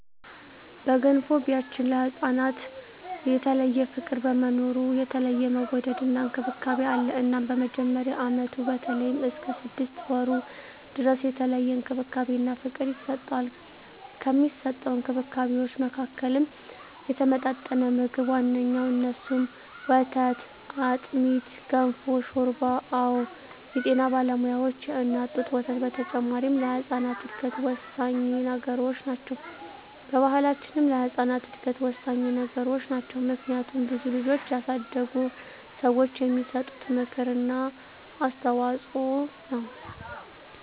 በገንፎ ቢያችን ለህፃናት የተለየ ፍቅር በመኖሩ የተለየ መወደድና እንክብካቤ አለ እናም በመጀመሪያ አመቱ በተለይም እስከ ስድስት ወሩ ድረስ የተለየ እንክብካቤና ፍቅር ይሰጠዋል። ከሚሰጠዉ እንክብካቤወች መካከልም የተመጣጠነ ምግብ ዋነኛዉ እነሱም፦ ወተት፣ አጥሚት፣ ገንፎ፣ ሾርባ አወ የጤና ባለሙያዋች የእናት ጡት ወተት በተጨማሪ ለህጻናት እድገት ወሳኚ ነገሮች ናቸው። በባሕላችንም ለህጻናት እድገት ወሳኚ ነገሮች ናቸው። ምክንያቱም ብዙ ልጆችን ያሳደጉ ሰዋች የሚሰጡት ምክር እና አስተዋጾ ነው።